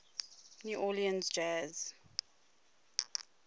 new orleans jazz